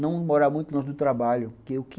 Não morar muito longe do trabalho, porque o que...